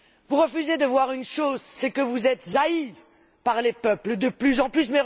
Vous refusez de voir une chose, c'est que vous êtes haïs par les peuples de plus en plus.